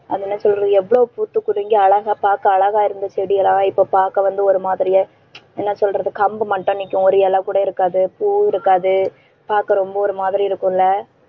அது என்ன சொல்றது எவ்வளவு பூத்து குலுங்கி, அழகா பார்க்க அழகா இருந்த செடியெல்லாம் இப்ப பார்க்க வந்து ஒரு மாதிரியே என்ன சொல்றது கம்பு மட்டும் நிக்கும் ஒரு இலை கூட இருக்காது பூ இருக்காது பார்க்க ரொம்ப ஒரு மாதிரி இருக்கும் இல்ல